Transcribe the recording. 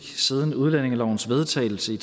siden udlændingelovens vedtagelse i